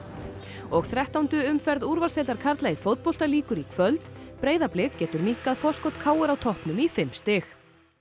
og þrettándu umferð úrvalsdeildar karla í fótbolta lýkur í kvöld Breiðablik getur minnkað forskot k r á toppnum í fimm stig